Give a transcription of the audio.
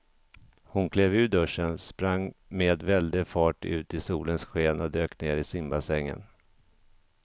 Hon klev ur duschen, sprang med väldig fart ut i solens sken och dök ner i simbassängen.